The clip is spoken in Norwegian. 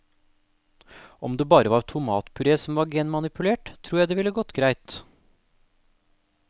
Om det bare var tomatpuré som var genmanipulert, tror jeg det ville gått greit.